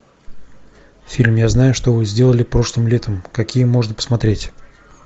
фильм я знаю что вы сделали прошлым летом какие можно посмотреть